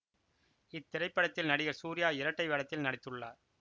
இத்திரைப்படத்தில் நடிகர் சூர்யா இரட்டை வேடத்தில் நடித்துள்ளார்